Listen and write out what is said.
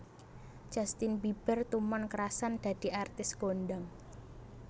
Justin Bieber tumon krasan dadi artis kondang